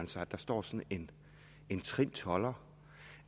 sig at der står sådan en trind tolder